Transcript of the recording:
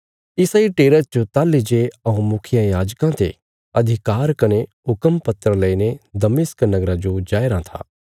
इसा इ टेरा च ताहली जे हऊँ मुखियायाजकां ते अधिकार कने हुक्म पत्र लईने दमिश्क नगरा जो जाया राँ था